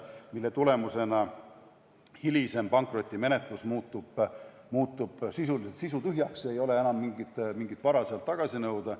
Selle tõttu hilisem pankrotimenetlus muutub sisuliselt sisutühjaks, st ei ole enam mingit vara sealt tagasi nõuda.